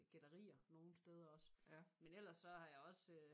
Gætterier nogle steder også. Men ellers så har jeg også